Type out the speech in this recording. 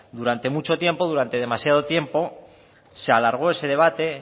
durante mucho tiempo durante demasiado tiempo se alargó ese debate